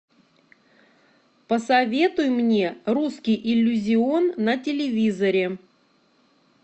посоветуй мне русский иллюзион на телевизоре